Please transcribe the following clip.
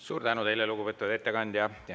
Suur tänu teile, lugupeetud ettekandja!